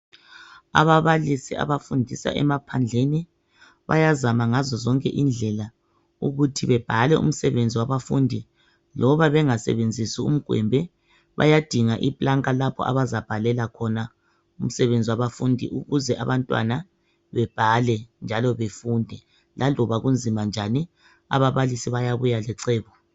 Ababalisi abafundisa emaphandleni .Bayazama ngazo zonke indlela ukuthi bebhale umsebenzi wabafundi loba bengasebenzisi umgwembe .Bayadinga iplanka lapho abazabhalela khona umsebenzi wabafundi ukuze abantwana bebhale njalo befunde . Laloba kunzima njani ababalisi bayabuya lecebo .